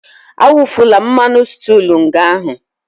Awufula mmanụ sịtịụ nga ahụ!